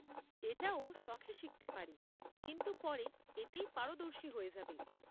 এটা ও শখে শিখতে পারে কিন্তু পরে এতেই পারদর্শী হয়ে যাবে।